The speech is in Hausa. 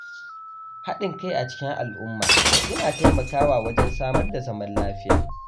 Haɗin kai a cikin al’umma yana taimakawa wajen samar da zaman lafiya.